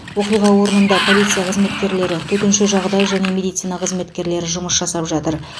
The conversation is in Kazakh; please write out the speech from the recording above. оқиға орнында полиция қызметкерлері төтенше жағдай және медицина қызметкерлері жұмыс жасап жатыр